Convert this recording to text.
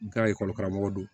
Ka ekɔli karamɔgɔ don